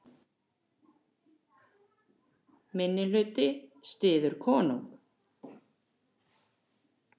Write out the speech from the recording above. Minnihluti styður konung